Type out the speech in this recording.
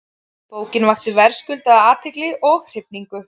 Bókin vakti verðskuldaða athygli og hrifningu.